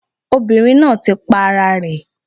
Obìnrin náà ti pa ara rẹ̀